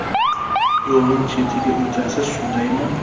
Yo‘lning chetiga o‘tasiz, shundaymi?